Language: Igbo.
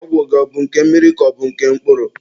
Ọgwụ gị ọ bụ nke mmiri ka ọ bụ nke mkpụrụ?